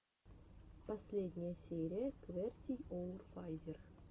последняя серия квертийоурфазер